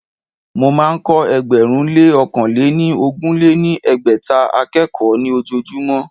Mo máa ń kọ́ ẹgbẹ̀rún lé ọ̀kan lé ní ogún lé ní ẹgbẹ́ta akẹ́kọ̀ọ́ ní ojojúmọ́